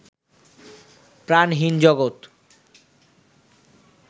প্রাণহীন জগত